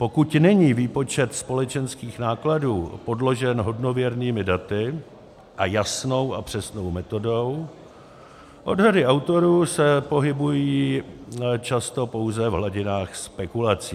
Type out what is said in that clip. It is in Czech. Pokud není výpočet společenských nákladů podložen hodnověrnými daty a jasnou a přesnou metodou, odhady autorů se pohybují často pouze v hladinách spekulací.